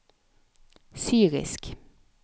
syrisk